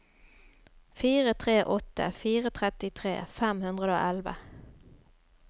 fire tre åtte fire trettitre fem hundre og elleve